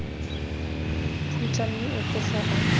khutla mme o tloga a